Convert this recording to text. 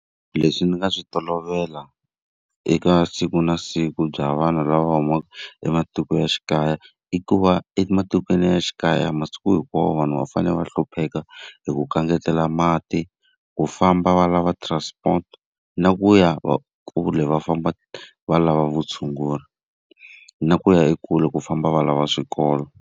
Leswi ni nga swi tolovela eka siku na siku bya vanhu lava humaka ematikoxikaya i ku va, ematikweni ya xikaya masiku hinkwawo vanhu va fanele va hlupheka hi ku kangatela mati, ku famba va lava transport, na ku ya kule va famba va lava vutshunguri. Na ku ya ekule ku famba va lava swikolo.